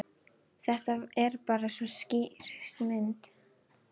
Þetta er bara svo skýr mynd.